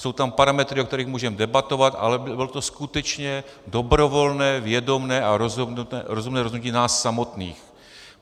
Jsou tam parametry, o kterých můžeme debatovat, ale bude to skutečné dobrovolné, vědomé a rozumné rozhodnutí nás samotných.